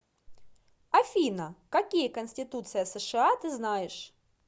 афина какие конституция сша ты знаешь